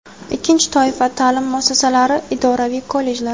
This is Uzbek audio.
Ikkinchi toifa – ta’lim muassasalari — idoraviy kollejlar.